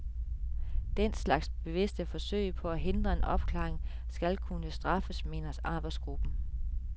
Den slags bevidste forsøg på at hindre en opklaring skal kunne straffes, mener arbejdsgruppen.